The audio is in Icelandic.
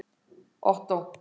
Ottó